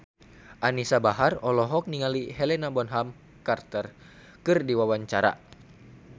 Anisa Bahar olohok ningali Helena Bonham Carter keur diwawancara